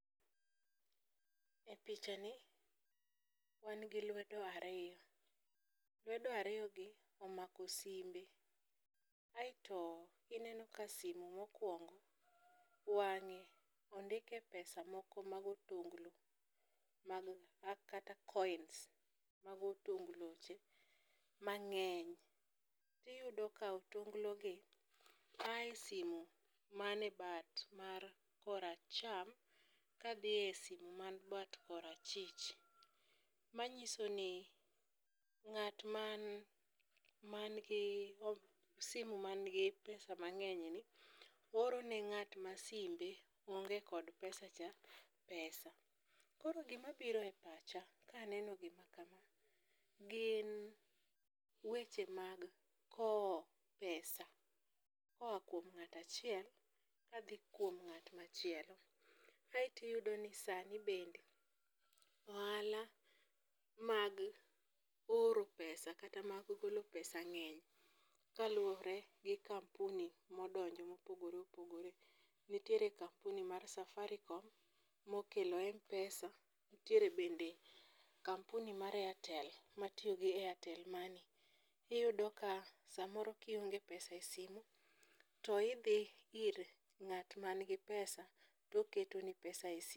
E picha ni, wan gi lwedo ariyo, lwedo ariyo gi omako simbe, aeto ineno ka simu mokwongo wang'e ondike pesa moko mag otonglo kata coins mag otongloche mang'eny. Tiyudo ka otonglogi ae simu mane bat mar koracham kadhi e simu man bat korachich, manyiso ni ng'at man gi simu manigi pesa mang'enyni oro ne ng'at ma simbe onge kod pesacha ,pesa. Koro gimabiro e pacha kaneno gima kama, gin weche mag kowo pesa koa kuom ng'ato achiel kadhi kuom ng'at machielo. Kaeto iyudo ni sani bende, ohala mag oro pesa kata mag golo pesa ng'eny kaluwore gi kampuni modonjo mopogore opogore. nitiere kampuni mar safaricom mokelo m-pesa, nitiere bende kampuni mar airtel m,atiyo gi airtel money. Iyudo ka samoro kionge pesa i simu to idhi ir ng'at manigi pesa to oketoni pesa e simu.